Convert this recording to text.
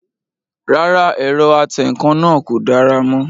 Rárá, ẹ̀rọ atẹǹkan náà kò dára mọ́